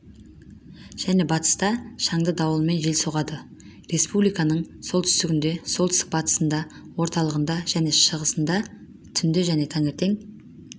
және батыста шаңды дауылмен жел соғады республиканың солтүстігінде солтүстік-батысында орталығында және шығысында түнде және таңертең